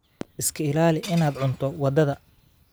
Iska ilaali in aad cunto wadada